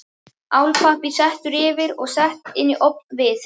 Álpappír settur yfir og sett inn í ofn við